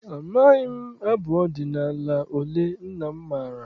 Amaghị m abụ ọdịnala ole nna m maara.